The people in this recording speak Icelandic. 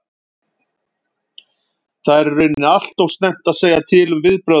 Það er í raun allt og snemmt að segja til um okkar viðbrögð.